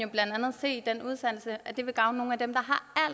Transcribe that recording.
blandt andet se at det vil gavne nogle af dem der